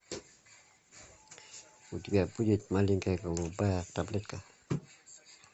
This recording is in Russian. у тебя будет маленькая голубая таблетка